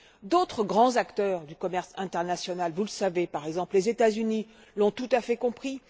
D'autres grands acteurs du commerce international vous le savez par exemple les États Unis, l'ont tout à fait compris.